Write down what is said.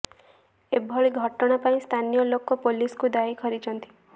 ଏଭଳି ଘଟଣା ପାଇଁ ସ୍ଥାନୀୟ ଲୋକ ପୋଲିସକୁ ଦାୟୀ କରିଛନ୍ତି